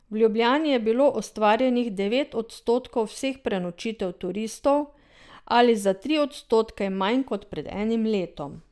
V Ljubljani je bilo ustvarjenih devet odstotkov vseh prenočitev turistov ali za tri odstotke manj kot pred enim letom.